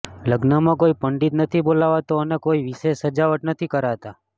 લગ્નમાં કોઈ પંડિત નથી બોલાવતા અને કોઈ વિશેષ સજાવટ નથી કરતા